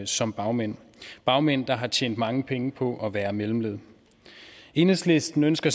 som bagmænd bagmænd der har tjent mange penge på at være mellemled enhedslisten ønsker